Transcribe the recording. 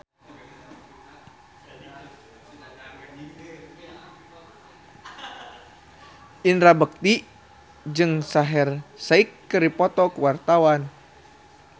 Indra Bekti jeung Shaheer Sheikh keur dipoto ku wartawan